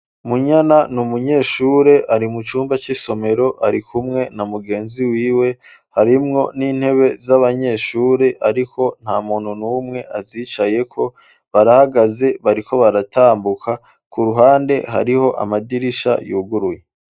Munyana ni umunyeshure ari mu cumba cisomero ari kumwe na mugenzi wiwe . Harimwo n'intebe z'abanyeshure ariko nta muntu numwe azicayeko barahagaze bari ko baratambuka ku ruhande hariho amadirisha yuguruye.